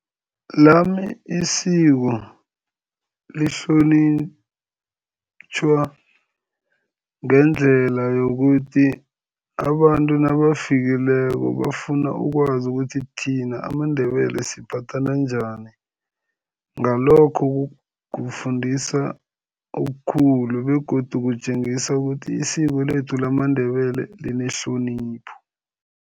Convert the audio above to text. Lami isiko lihlonitjhwa ngendlela yokuthi abantu nabafikileko, bafuna ukwazi ukuthi thina amaNdebele siphathana njani, ngalokho kufundisa okukhulu begodu kutjengisa ukuthi isiko lethu lamaNdebele linehlonipho.